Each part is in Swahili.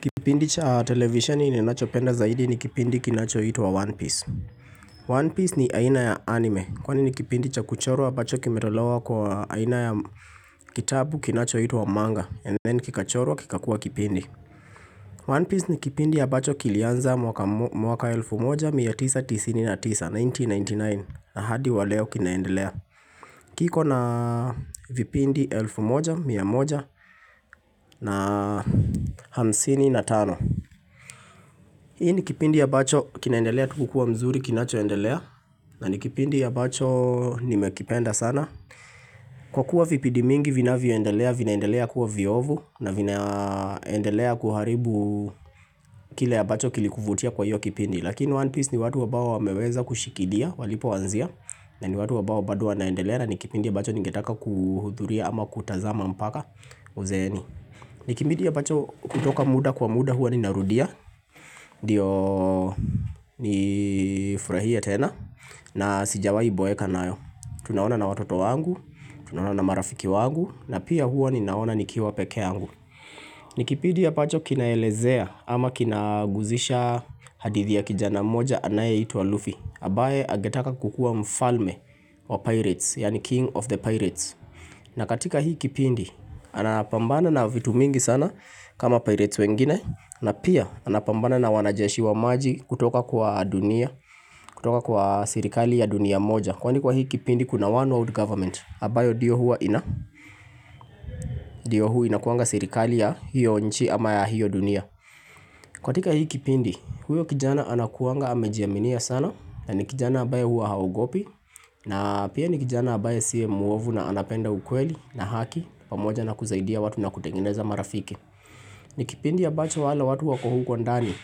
Kipindi cha televisheni ninachopenda zaidi ni kipindi kinachoitwa One Piece One Piece ni aina ya anime kwani ni kipindi cha kuchorwa ambacho kimetolewa kwa aina ya kitabu kinachoitwa manga and then kikachorwa kikakua kipindi One Piece ni kipindi ya ambacho kilianza mwaka elfu moja mia tisa tisini na tisa 1999 na hadi wa leo kinaendelea kiko na vipindi elfu moja mia moja na hamsini na tano Hii ni kipindi ya ambacho kinaendelea tu kukua mzuri kinachoendelea na ni kipindi ya ambacho nimekipenda sana Kwa kuwa vipindi mingi vinavyoendelea vinaendelea kuwa viovu na vinaendelea kuharibu kile ya ambacho kilikuvutia kwa hiyo kipindi Lakini One Piece ni watu wabao wameweza kushikilia walipoanzia na ni watu ambao bado wanaendelea na ni kipindi ya ambacho ningetaka kuhudhuria ama kutazama mpaka uzeeni ni kipindi ambacho kutoka muda kwa muda huwa ninarudia Ndiyo nifurahie tena na sijawai boeka nayo tunaona na watoto wangu, tunaona na marafiki wangu na pia huwa ninaona nikiwa peke yangu Nikipindi ambacho kinaelezea ama kinaguzisha hadithi ya kijana moja anayeitwa Luffy ambaye angetaka kukua mfalme wa pirates, yaani king of the pirates na katika hii kipindi, anapambana na vitu mingi sana kama pirates wengine na pia anapambana na wanajeshi wa maji kutoka kwa dunia, kutoka kwa serikali ya dunia moja. Kwani kwa hii kipindi kuna one old government, ambayo ndio hua ina, ndio hua inakuanga serikali ya hiyo nchi ama ya hiyo dunia. Katika hii kipindi, huyo kijana anakuanga amejiaminia sana, na ni kijana ambaye hua haogopi, na pia ni kijana ambaye siye muovu na anapenda ukweli na haki, pamoja na kusaidia watu na kutengeneza marafi. Ni kipindi ya ambacho wale watu wako huko ndani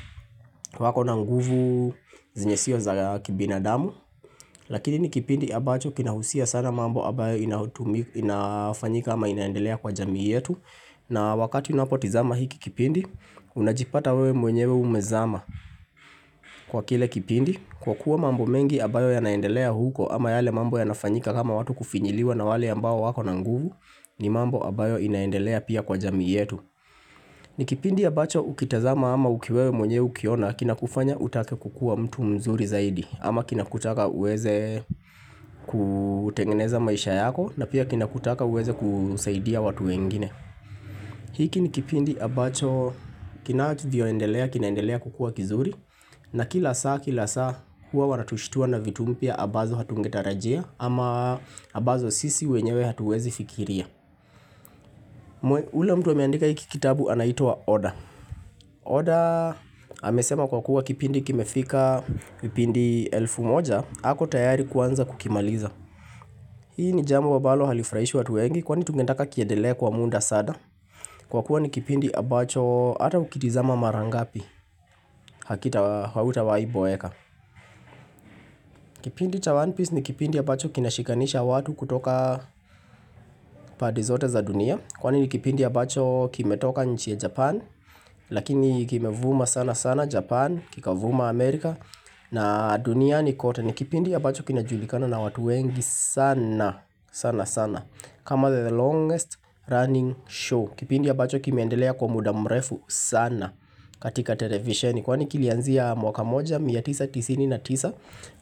wako na nguvu zenye sio za kibinadamu Lakini ni kipindi ya ambacho kinahusia sana mambo ambayo inafanyika ama inaendelea kwa jamii yetu na wakati unapotizama hiki kipindi, unajipata wewe mwenyewe umezama kwa kile kipindi Kwa kuwa mambo mengi ambayo yanaendelea huko ama yale mambo yanafanyika kama watu kufinyiliwa na wale ambao wako na nguvu ni mambo ambayo inaendelea pia kwa jamii yetu ni kipindi ambacho ukitazama ama wewe mwenye ukiona kinakufanya utake kukua mtu mzuri zaidi ama kinakutaka uweze kutengeneza maisha yako na pia kinakutaka uweze kusaidia watu wengine. Hiki ni kipindi ambacho kinavyoendelea kinaendelea kukua kizuri na kila saa kila saa huwa wanatushtua na vitu mpya ambazo hatungetarajia ama ambazo sisi wenyewe hatuwezi fikiria. Ule mtu ameandika hiki kitabu anaitwa Oda Oda amesema kwa kuwa kipindi kimefika vipindi elfu moja ako tayari kuanza kukimaliza Hii ni jambo ambalo halifurahishi watu wengi Kwani tungetaka kiendelee kwa muda sana Kwa kuwa ni kipindi ambacho hata ukitizama mara ngapi Hakita hautawaiboeka Kipindi cha one piece ni kipindi ambacho kinashikanisha watu kutoka pande zote za dunia Kwani kipindi ambacho kimetoka nchi ya japan Lakini kimevuma sana sana Japan Kikavuma Amerika na duniani kote ni kipindi ya ambacho kinajulikana na watu wengi sana sana sana kama the longest running show Kipindi ya abacho kimeendelea kwa muda mrefu sana katika televisheni Kwani kilianzia mwaka 1999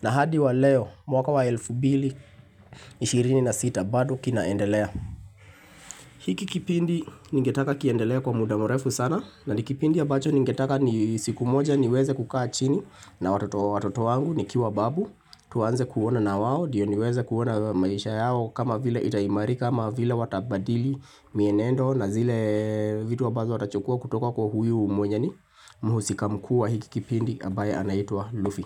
na hadi wa leo mwaka wa 1226 bado kinaendelea hiki kipindi ningetaka kiendelee kwa muda mrefu sana na ni kipindi ya abacho ningetaka siku moja niweze kukaa chini na watoto wangu nikiwa babu tuanze kuona nawao ndiyo niweze kuona maisha yao kama vile itaimarika ama vile watabadili mienendo na zile vitu ambazo watachukua kutoka kwa huyu mwenye ni mhusika mkuu wa hiki kipindi ambaye anaitwa Luffy.